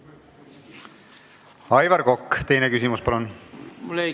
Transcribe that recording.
Aivar Kokk, teine küsimus, palun!